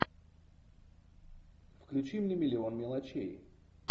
включи мне миллион мелочей